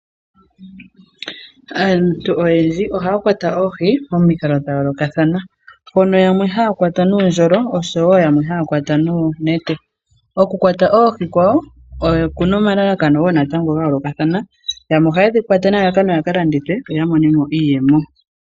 Aantu oyendji ohaya kwata oohi, momikalo dhayoolokathana. Hono yamwe haya kwaya nuundjolo, oshowo yamwe haya kwata noonete. Okuwakwata oohi dhawo, okuna omalalakano gayoolokathana. Yamwe ohayedhi kwata nelalakano yakalandithe, opo yamone mo iiyemo.